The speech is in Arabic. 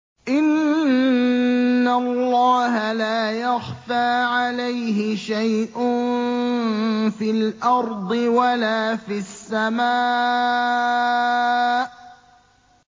إِنَّ اللَّهَ لَا يَخْفَىٰ عَلَيْهِ شَيْءٌ فِي الْأَرْضِ وَلَا فِي السَّمَاءِ